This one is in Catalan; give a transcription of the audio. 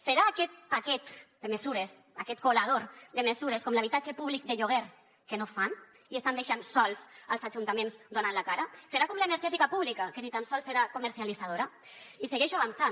serà aquest paquet de mesures aquest colador de mesures com l’habitatge públic de lloguer que no fan i estan deixant sols els ajuntaments donant la cara serà com l’energètica pública que ni tan sols serà comercialitzadora i segueixo avançant